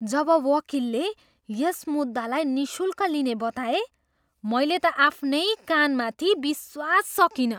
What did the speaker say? जब वकिलले यस मुद्दालाई निःशुल्क लिने बताए, मैले त आफ्नै कानमाथि विश्वास सकिनँ।